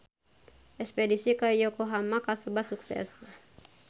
Espedisi ka Yokohama kasebat sukses